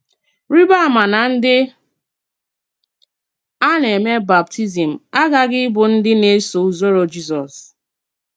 Rìbà àmá nà ndí a na-èmè bàptízm àghàghì ìbụ́ ndí na-èsò-ùzòrò Jízọ́s.